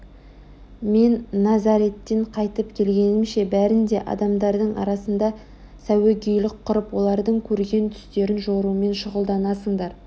мен назареттен қайтып келгенімше бәрін де адамдардың арасында сәуегейлік құрып олардың көрген түстерін жорумен шұғылданасыңдар